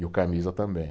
E o Camisa também.